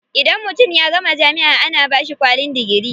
Idan mutum ya gama jami'a ana bashi kwalin digiri.